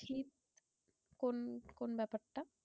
কোন কোন ব্যাপারটা?